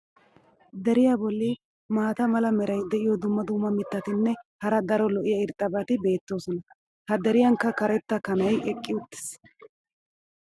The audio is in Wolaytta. Deriya boli maata mala meray diyo dumma dumma mitatinne hara daro lo'iya irxxabati beetoosona. ha deriyankka karetta kanay eqqi uttiis.